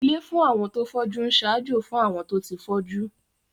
Ilé fún àwọn tó fọ́jú ń ṣaájó fún àwọn tó ti fọ́jú